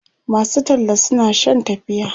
masu talla suna Shan tafiya